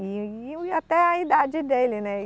E até a idade dele, né?